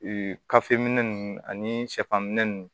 kafo minɛ ninnu ani sɛfan minɛ ninnu